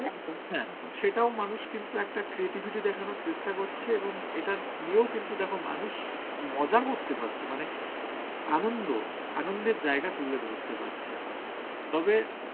সেটাও মানুষ কিন্তু একটা creativity দেখানোর চেষ্টা করছে এবং এটা নিয়েও কিন্তু দেখো মানুষ মজা করতে পারছে মানে আনন্দ, আনন্দের জায়গা তুলে ধরতে পারছে। তবে